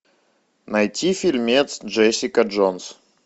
найти фильмец джессика джонс